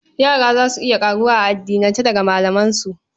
Yara za su iya ƙaruwa a addinance daga malamansu.